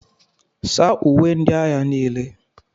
saa uwe ndị agha niile